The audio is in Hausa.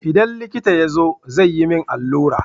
Idan likita ya zo, zai yi min allura.